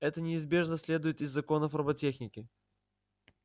это неизбежно следует из законов роботехники